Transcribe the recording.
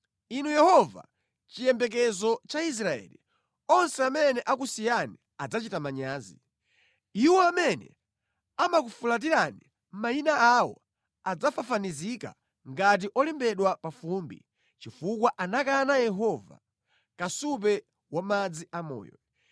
Inu Yehova, chiyembekezo cha Israeli, onse amene amakusiyani adzachita manyazi. Iwo amene amakufulatirani mayina awo adzafafanizika ngati olembedwa pa fumbi chifukwa anakana Yehova, kasupe wa madzi amoyo.